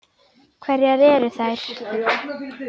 Hverjar eru þær?